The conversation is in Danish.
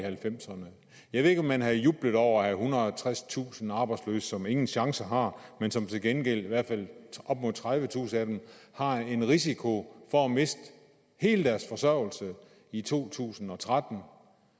halvfemserne jeg ved ikke om man havde jublet over at og tredstusind arbejdsløse som ingen chance har men som til gengæld i hvert fald op mod tredivetusind af dem har en risiko for at miste hele deres forsørgelse i to tusind og tretten